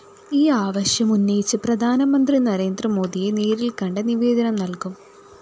ഈ ആവശ്യം ഉന്നയിച്ച് പ്രധാനമന്ത്രി നരേന്ദ്രമോദിയെ നേരില്‍ക്കണ്ട് നിവേദനം നല്‍കും